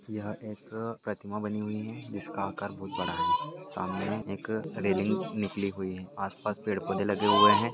यह एक अ प्रतिमा बनी हुई है जिसका आकार बहुत बड़ा है सामने एक रैलिंग निकली हुई है आस पास पेड़ पौधे लगे हुए है।